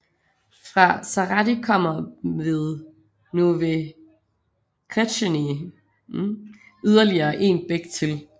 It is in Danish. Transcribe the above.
Fra Zahrady kommer ved Nové Křečany yderligere en bæk til